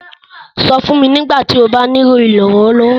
Sọ̀ fun mí nígbàtí ó bá nilo iránlọ́wọ́.